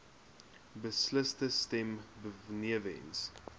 beslissende stem benewens